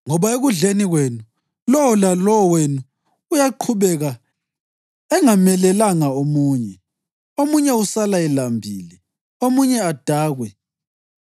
ngoba ekudleni kwenu, lowo lalowo wenu uyaqhubeka engamelelanga omunye. Omunye usala elambile, omunye adakwe.